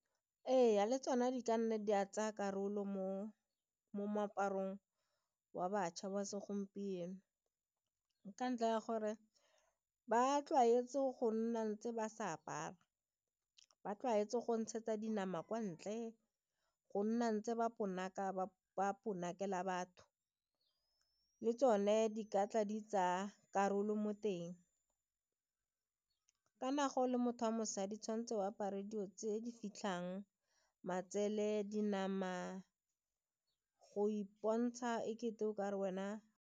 Ee, le tsona di ka nna di a tsaya karolo mo moaparong wa bašwa ba segompieno ka ntlha ya gore ba tlwaetse go nna ntse ba sa apara, ba tlwaetse go ntshetsa dinama kwa ntle go nna ntse ba ponaka ba potlakela batho le tsone di ka tla di tsaya karolo mo teng. Kana ga o le motho wa mosadi tshwan'tse o apare dilo tse di fitlhang matsele, di nama go ipontsha e kete o ka re wena.